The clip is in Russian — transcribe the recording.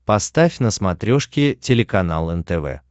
поставь на смотрешке телеканал нтв